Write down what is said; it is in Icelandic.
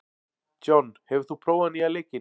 John, hefur þú prófað nýja leikinn?